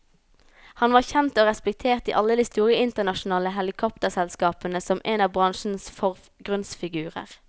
Han var kjent og respektert i alle de store internasjonale helikopterselskapene som en av bransjens forgrunnsfigurer.